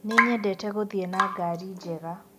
Nĩnyendete gũthiĩ na ngari njega